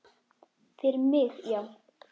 Fyrir mig, já.